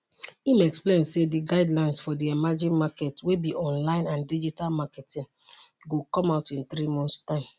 im explain say di guidelines for di emerging market wey be online and digital marketing go come out in three months time